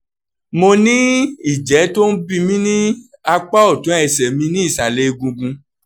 mo ní ìjẹ́ tó ń bí mi ní apá òtún ẹsẹ̀ mi nísàlẹ̀ egungun